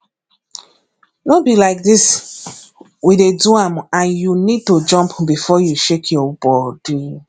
no be like dis we dey do am and you need to jump before you shake your body